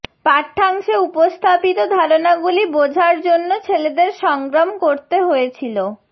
পাঠ্যাংশে উপস্থাপিত ধারণাগুলি বোঝার জন্য ছেলেদের সংগ্রাম করতে হয়েছিল